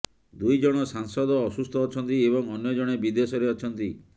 ଦୁଇ ଜଣ ସାଂସଦ ଅସୁସ୍ଥ ଅଛନ୍ତି ଏବଂ ଅନ୍ୟ ଜଣେ ବିଦେଶରେ ଅଛନ୍ତି